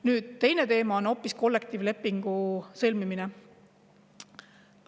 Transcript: Nüüd, hoopis teine teema on kollektiivlepingu sõlmimine.